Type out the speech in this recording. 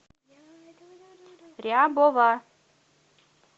рябова